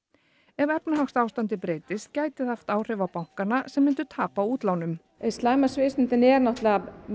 ef efnahagsástandið breytist gæti það haft áhrif á bankana sem myndu tapa útlánum slæma sviðsmyndin er náttúrulega